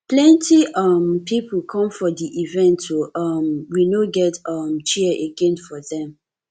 plenty um pipo come for di event o um we no get um chair again for dem